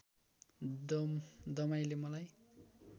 दमाईले मलाई